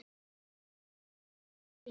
Það þarf nokkuð til!